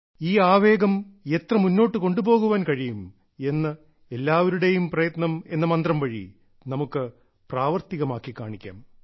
ഈ ആവേഗം എത്ര മുന്നോട്ടു കൊണ്ടുപോകാൻ കഴിയും എന്ന് എല്ലാവരുടെയും പ്രയത്നം എന്ന മന്ത്രം വഴി നമുക്ക് പ്രാവർത്തികമാക്കി കാണിക്കാം